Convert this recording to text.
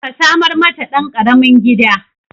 Ka samar mata ɗan ƙaramin gida